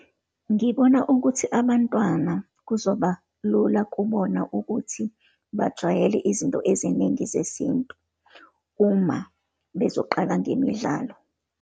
Ngibona ukuthi abantwana, kuzoba lula kubona ukuthi bajwayele izinto eziningi zesintu, uma bezoqala ngemidlalo.